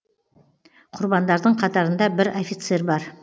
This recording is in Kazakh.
құрбандардың қатарында бір офицер бар